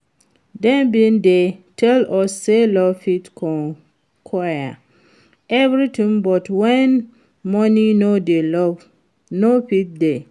Dem bin dey tell us say love fit conquer everything but when money no dey love no fit dey